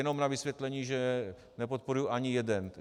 Jenom na vysvětlení, že nepodporuji ani jeden.